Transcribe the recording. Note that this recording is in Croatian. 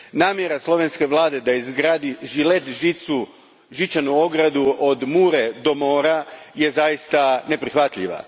Namjera slovenske vlade da izgradi žilet žicu, žičanu ogradu od Mure do mora zaista je neprihvatljiva.